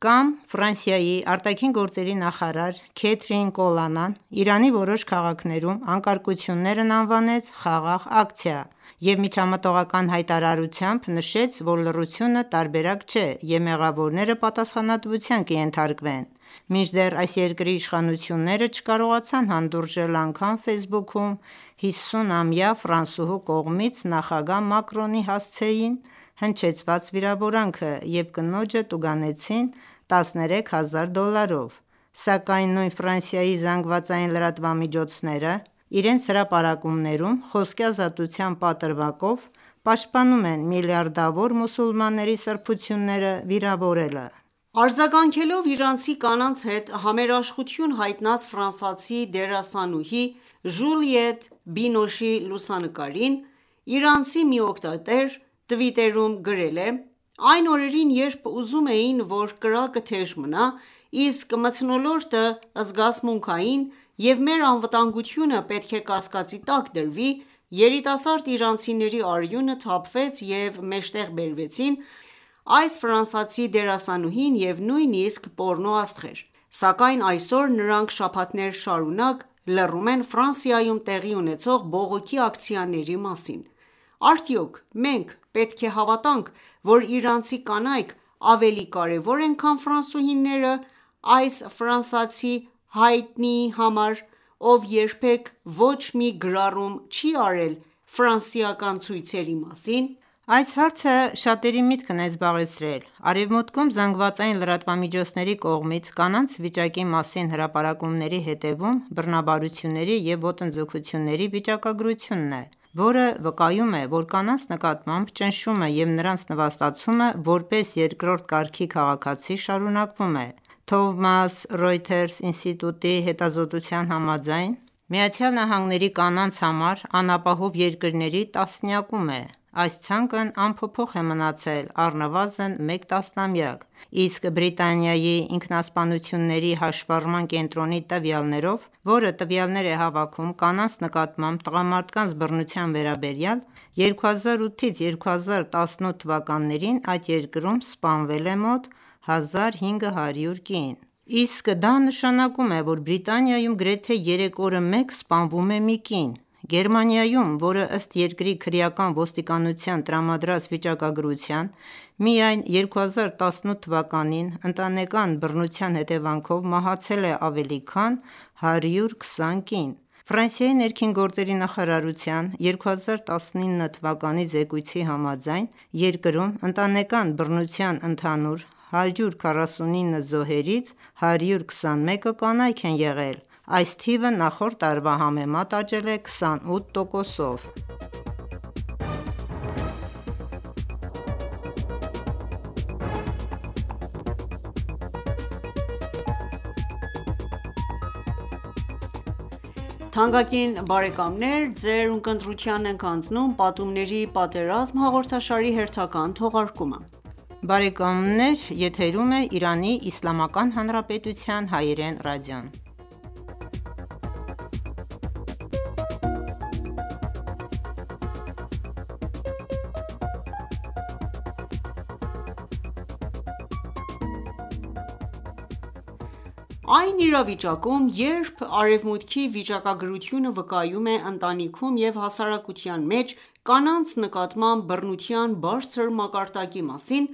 Կամ Ֆրանսիայի ԱԳ նախարար Քեթրին Կոլոննան Իրանի որոշ քաղաքներում անկարգություններն անվանեց խաղաղ ակցիա և միջամտողական հայտարարությամբ նշեց, որ լռությունը տարբերակ չէ, և մեղավորները պատասխանատվության կենթարկվեն։ Մինչդեռ այս երկրի իշխանությունները չկարողացան հանդուրժել անգամ Facebook-ում 50-ամյա ֆրանսուհու կողմից նախագահ Մակրոնի հասցեին հնչեցված վիրավորանքը և կնոջը տուգանեցին 13 հազար դոլարով։ Սակայն նույն Ֆրանսիայի ԶԼՄ-ները իրենց հրապարակումներում, խոսքի ազատության պատրվակով պաշտպանում են միլիարդավոր մուսուլմանների սրբությունները վիրավորելը։ Արձագանքելով իրանցի կանանց հետ համերաշխություն հայտնած ֆրանսիացի դերասանուհի Ժուլիետ Բինոշի լուսանկարին, իրանցի մի օգտատեր Twitter-ում գրել է «Այն օրերին, երբ ուզում էին, որ կրակը թեժ մնա, իսկ մթնոլորտը զգացմունքային և մեր անվտանգությունը պետք է կասկածի տակ դրվի, երիտասարդ իրանցիների արյունը թափվեց և մեջտեղ բերվեցին այս ֆրանսիացի դերասանուհին ու նույնիսկ պոռնոաստղեր: Սակայն այսօր, նրանք շաբաթներ շարունակ լռում են Ֆրանսիայում տեղի ունեցող բողոքի ակցիաների մասին: Արդյո՞ք մենք պետք է հավատանք, որ իրանցի կանայք ավելի կարևոր են, քան ֆրանսուհիները այս ֆրանսիացի հայտնիի համար, ով երբեք ոչ մի գրառում չի արել ֆրանսիական ցույցերի մասին»: Այս հարցը շատերի միտքն է զբաղեցրել: Արևմուտքում ԶԼՄ-ների կողմից կանանց վիճամի մասին հրապարակումների հետևում բռնաբարությունների և ոտնձգությունների վիճակագրությունն է, որը վկայում է, որ կանանց նկատմամբ ճնշումը և նրանց նվաստացումը՝ որպես երկրորդ կարգի քաղաքացի, շարունակվում է։ Thomson Reuters ինստիտուտի հետազոտության համաձայն՝ ԱՄՆ-ն կանանց համար անապահով երկրների 10-յակում է: Այս ցանկն անփոփոխ է մնացել առնվազն մեկ տասնամյակ։ Իսկ Բրիտանիայի «Ինքնասպանությունների հաշվառման կենտրոնի» տվյալներով, որը տվյալներ է հավաքում կանանց նկատմամբ տղամարդկանց բռնության վերաբերյալ, 2008-2018թթ այդ երկրում սպանվել է մոտ 1500 կին։ Իսկ դա նշանակում է, որ Բրիտանիայում գրեթե երեք օրը մեկ սպանվում է մի կին: Գերմանիայում, ըստ երկրի քրեական ոստիկանության տրամադրած վիճակագրության, միայն 2018 թվականին ընտանեկան բռնության հետևանքով մահացել է ավելի քան 120 կին։ Ֆրանսիայի ներքին գործերի նախարարության 2019 թվականի զեկույցի համաձայն՝ երկրում ընտանեկան բռնության ընդհանուր 149 զոհերից 121-ը կանայք են եղել: Այս թիվը նախորդ տարվա համեմատ աճել է 28%-ով։ Այն իրավիճակում, երբ Արևմուտքի վիճակագրությունը վկայում է ընտանիքում և հասարակության մեջ կանանց նկատմամբ բռնության բարձր մակարդակի մասին,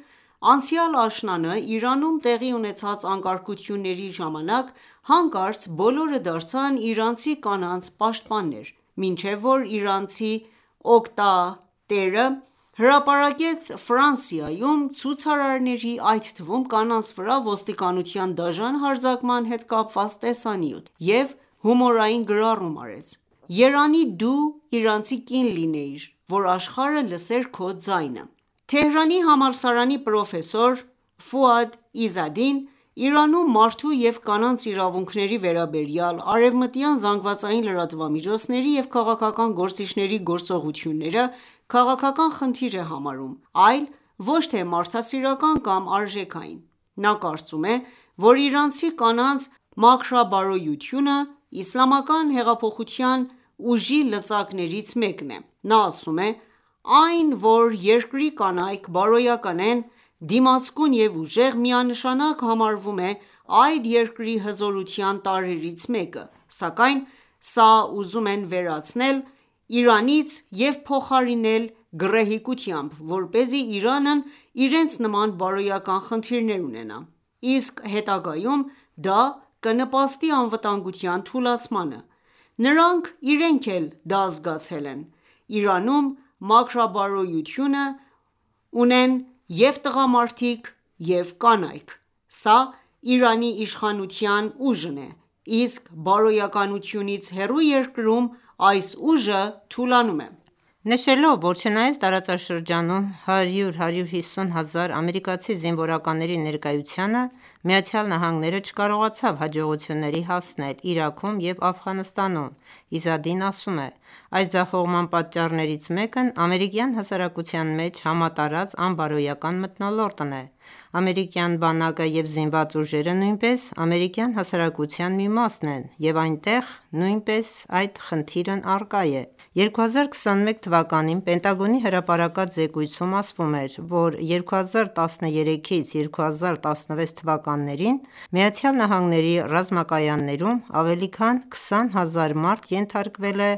անցյալ աշնանը Իրանում տեղի ունեցած անկարգությունների ժամանակ հանկարծ բոլորը դարձան իրանցի կանանց պաշտպաններ, մինչև որ իրանցի օգտատերը հրապարակեց Ֆրանսիայում ցուցարարների, այդ թվում՝ կանանց վրա ոստիկանության դաժան հարձակման հետ կապված տեսանյութ, և հումորային գրառում արեց. «Երանի դու իրանցի կին լինեիր, որ աշխարհը լսեր քո ձայնը»: Թեհրանի համալսարանի պրոֆեսոր Ֆուադ Իզադին Իրանում մարդու և կանանց իրավունքների վերաբերյալ արևմտյան ԶԼՄ-ների և քաղաքական գործիչների գործողությունները քաղաքական խնդիր է համարում, այլ ոչ թե մարդասիրական կամ արժեքային: Նա կարծում է, որ իրանցի կանանց մաքրաբարոյությունը իսլամական հեղափոխության ուժի լծակներից մեկն է։ Նա ասում է: «Այն, որ երկրի կանայք բարոյական են, դիմացկուն և ուժեղ, միանշանակ համարվում է այդ երկրի հզորության տարրերից մեկը։ Սակայն սա ուզում են վերցնել Իրանից և փոխարինել գռեհկությամբ, որպեսզի Իրանն իրենց նման բարոյական խնդիրներ ունենա։ Իսկ հետագայում դա կնպաստի անվտանմգության թուլացմանը: Նրանք իրենք էլ դա զգացել են: Իրանում մաքրաբարոյություն ունեն և՛ տղամարդիկ, և՛ կանայք: Սա Իրանի իշխանության ուժն է: իսկ բարոյականությունից հեռու երկրում այս ուժը թուլանում է»: Նշելով, որ չնայած տարածաշրջանում 100-150 հազար ամերիկացի զինվորականների ներկայությանը, ԱՄՆ-ն չկարողացավ հաջողությունների հասնել Իրաքում և Աֆղանստանում, Իզադին ասում է. «Այս ձախողման պատճառներից մեկն ամերիկյան հասարակության մեջ համատարած անբարոյական մթնոլորտն է։ Ամերիկյան բանակը և զինված ուժերը նույնպես ամերիկյան հասարակության մի մասն են, և այնտեղ նույնպես այդ խնդիրն առկա է: 2021 թվականին Պենտագոնի հրապարակած զեկույցում ասվում էր, որ 2013-ից 2016 թվականներին ԱՄՆ ռազմակայաններում ավելի քան 20 հազար մարդ ենթարկվել է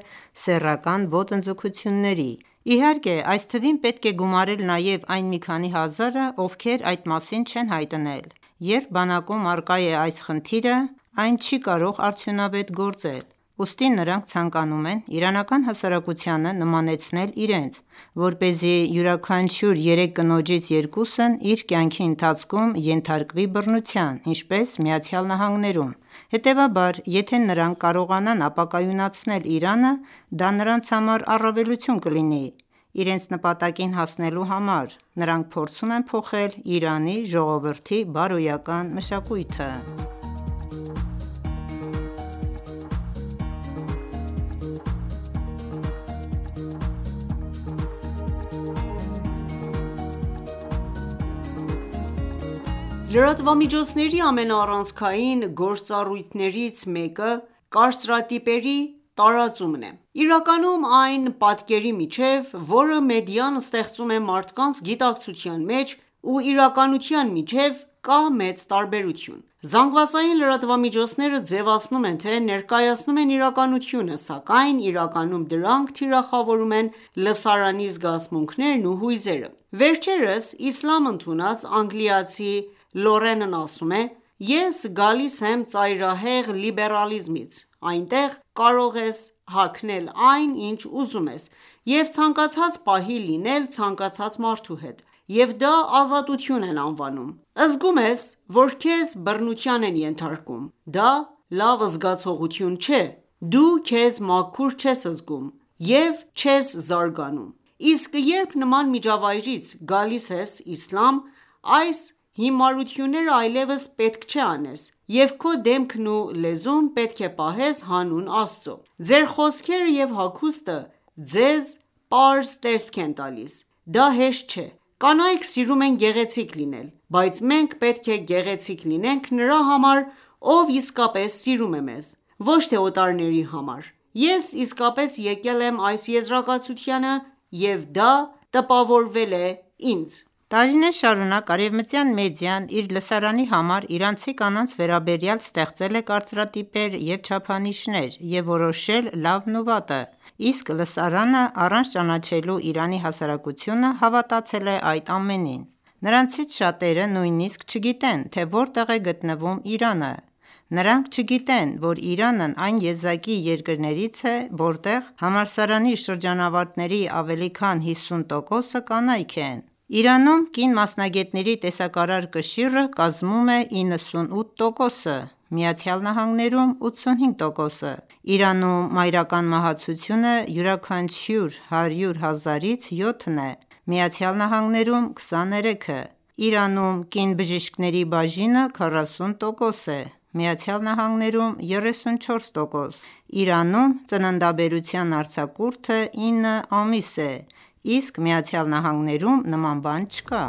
սեռական ոտնձգությունների: Իհարկե, այս թվին պետք է գումարել նաեւ այն մի քանի հազարը, ովքեր այդ մասին չեն հայտնել։ Երբ բանակում առկա է այս խնդիրը, այ չի կարող արդյունավետ գործել: Ուստի նրանք ցանկանում են իրանական հասարակությանը նմանեցնել իրենց, որպեսզի յուրաքանչյուր երեք կնոջից երկուսն իր կյանքի ընթացքում ենթարկվի բռնության, ինչպես ԱՄՆ-ում։ Հետևաբար, եթե նրանք կարողնանան ապակայունացնել Իրանը, դա նրանց համար առավելություն կլինի: Իրենց նպատակին հասնելու համար, նրանք փորձում են փոխել Իրանի ժողովրդի բարոյական մշակույթը»: Լրատվամիջոցների ամենաառանցքային գործառույթներից մեկը կարծրատիպերի տարածումն է: Իրականում այն պատկերի միջև, որը մեդիան ստեղծում է մարդկանց գիտակցության մեջ ու իրականության միջև կա մեծ տաբերություն: ԶԼՄ-ները ձևացնում են, թե ներկայացնում են իրականությունը, սակայն իրականում դրանք թիրախավորում են լսարանի զգացմունքներն ու հույզերը: Վերջերս իսլամ ընդունած, անգլիացի Լորենն ասում է. «Ես գալիս եմ ծայրահեղ լիբերալիզմից։ Այնտեղ կարող ես հագնել այն, ինչ ուզում ես և ցանկացած պահի լինել ցանկացած մարդու հետ: Եվ դա ազատություն են անվանում: Զգում ես, որ քեզ բռնության են ենթարկում, դա լավ զգացողություն չէ, դու քեզ մաքուր չես զգում և չես զարգանում: Իսկ երբ նման միջավայրից գալիս ես իսլամ, այս հիմարությունները այլևս չպետք է անես և քո դեմքն ու լեզուն պետք է պահես հանուն Աստծո: Ձեր խոսքերը և հագուստը ձեզ պարզ տեսք են տալիս: Դա հեշտ չէ: Կանայք սիրում են գեղեցիկ լինել, բայց մենք պետք է գեղեցիկ լինենք նրա համար, ով իսկապես սիրում է մեզ, ոչ թե օտարների համար: Ես իսկապես եկել եմ այս եզարակացությանը և դա տպավորել է ինձ»: Տարիներ շարունակ արևմտյան մեդիան իր լսարանի համար իրանցի կանանց վերաբերյալ ստեղծել է կարծրատիպեր և չափանիշներ և որոշել լավն ու վատը, իսկ լսարանը, առանց ճանաչելու Իրանի հասարակությունը, հավատացել է այդ ամենին: Նրանցից շատերը նույնիսկ չգիտեն, թե որտեղ է գտնվում Իրանը: Նրանք չգիտեն, որ Իրանն այն եզակի երկրներից է, որտեղ համալսարանի շրջանավարտների ավելի քան 50%-ը կանայք են: Իրանում կին մասնագետների տեսակարար կշիռը կազմում է 98%, ԱՄՆ-ում՝ 85%, Իրանում մայրական մահացությունը յուրաքանչյուր 100 հազարից 7 է, ԱՄՆ-ում՝ 23, Իրանում կին բժիշկների բաժինը 40% է ԱՄՆ-ում՝ 34 %, Իրանում ծննդաբերության արձակուրդը 9 ամիս է, իսկ ԱՄՆ-ում նման բան չկա: